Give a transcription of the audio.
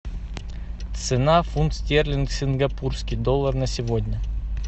цена фунт стерлинг сингапурский доллар на сегодня